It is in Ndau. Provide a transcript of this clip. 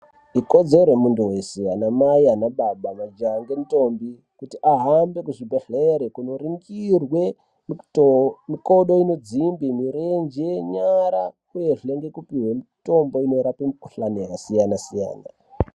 Ikodzero yemuntu weshe, anamai, ana baba, majaya nentombi kuti ahambe kuzvibhadhlera kundoringirwe mikodo inodzimbe, nyara, uyezve nekupihwe mitombo inorape mikuhlani yakasiyana-siyana.